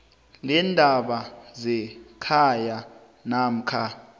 leendaba zekhaya namkha